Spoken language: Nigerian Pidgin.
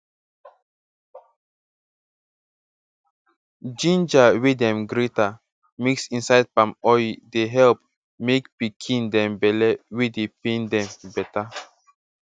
ginger wey dem grate mix inside palm oye dey help make pikin dem belle wey dey pain dem beta